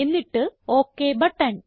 എന്നിട്ട് okay button